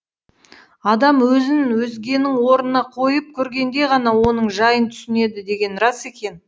адам өзін өзгенің орнына қойып көргенде ғана оның жайын түсінеді деген рас екен